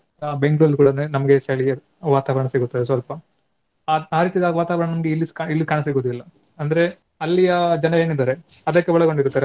ಬೆಂಗ್ಳೂರಲ್ಲಿ ಕೂಡ ಆ ನಮ್ಗೆ ಚಳಿಯೇ ವಾತಾವರಣ ಸಿಗುತ್ತದೆ ಸ್ವಲ್ಪ ಆ ಆ ರೀತಿಯ ವಾತಾವರಣ ನಮ್ಗೆ ಇಲ್ಲಿಸ್~ ಇಲ್ಲಿ ಕಾಣ ಸಿಗುವುದಿಲ್ಲ ಅಂದ್ರೆ ಅಲ್ಲಿಯ ಜನರೇನಿದ್ದಾರೆ ಅದಕ್ಕೆ ಒಳಗೊಂಡಿರುತ್ತಾರೆ.